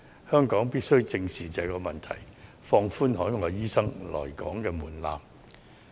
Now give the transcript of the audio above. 我們必須正視這個問題，放寬海外醫生來港工作的門檻。